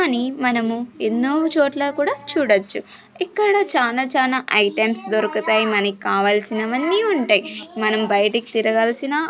కని మనము ఎన్నో చోట్ల కూడా చూడొచ్చు ఇక్కడ చానా చానా ఐటమ్స్ దొరుకుతాయి మనకావాల్సినవన్నీ ఉంటయ్ మనం బయటికి తిరగాల్సిన--